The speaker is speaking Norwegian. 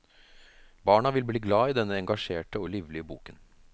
Barna vil bli glad i denne engasjerte og livlige boken.